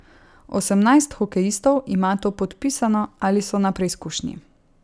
Osemnajst hokejistov ima to podpisano ali so na preizkušnji.